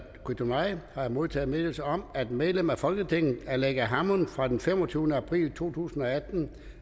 qitornai modtaget meddelelse om at medlem af folketinget aleqa hammond fra den femogtyvende april to tusind og atten